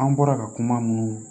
An bɔra ka kuma mun